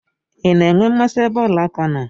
I na-enwe mmasị ebe ọla aka nọ?